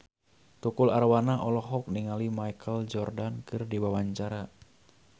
Tukul Arwana olohok ningali Michael Jordan keur diwawancara